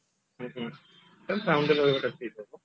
then town ରେ ରହିବାଟା ଠିକ ହବ